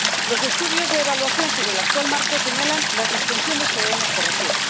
Los estudios de evaluación sobre el actual marco señalan las disfunciones que debemos corregir.